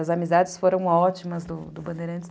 As amizades foram ótimas do do Bandeirantes.